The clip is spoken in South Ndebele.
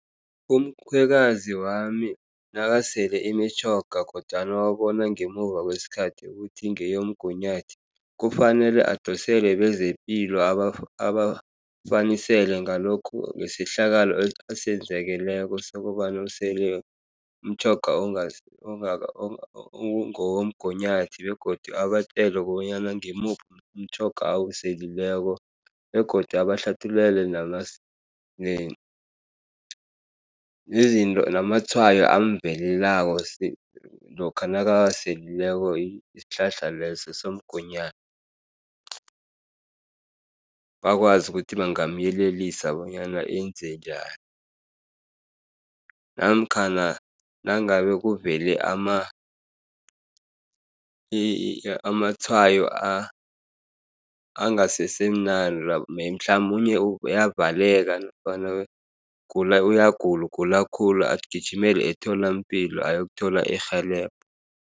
Umkhwekazi wami nakasele imitjhoga, kodwana wabona ngemuva kwesikhathi ukuthi ngeyomgunyathi. Kufanele adosele bezepilo aba abafanisele ngalokhu ngesehlakalo esenzekeleko sokobana usele umtjhoga womgunyathi, begodu abatjele kobanyana ngimuphi umtjhoga awuseleko begodu abahlathululele namatshwayo amvelelako. Lokha nakawaselileko isihlahla leso somgunyathi. Bakwazi ukuthi bangamyelelisa bonyana enze njani, namkhana nangabe kuvele amatshwayo angasesemnandi mhlamunye uyavaleka, nofana uyagula ugula khulu agijimele emtholampilo ayokuthola irhelebho.